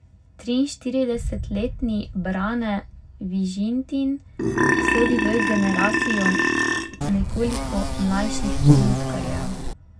Triinštiridesetletni Brane Vižintin sodi v generacijo nekoliko mlajših lutkarjev.